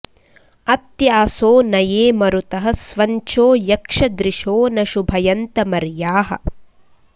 अत्यासो न ये मरुतः स्वञ्चो यक्षदृशो न शुभयन्त मर्याः